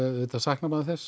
auðvitað saknar maður þess